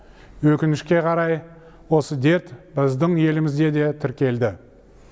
өкінішке қарай осы дерт біздің елімізде де тіркелді